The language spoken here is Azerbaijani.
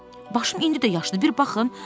Başım indi də yaşdır, bir baxın.